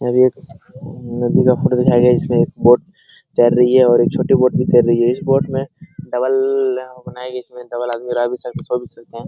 यहाँ पर एक नदी का फोटो दिखाया गया है इसमें एक बोट तैर रही है और एक छोटी बोट भी तैर रही है इस बोट में डबल बनाई गई है इसमें डबल आदमी रह भी सकते हैं सो भी सकते हैं।